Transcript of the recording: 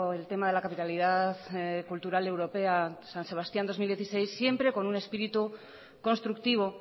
el tema de la capitalidad cultural europea san sebastián dos mil dieciséis siempre con un espíritu constructivo